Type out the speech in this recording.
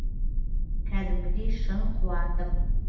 кәдімгідей шын қуандым